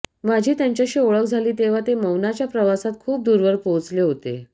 माझी त्यांच्याशी ओळख झाली तेव्हा ते मौनाच्या प्रवासात खूप दूरवर पोहोचले होते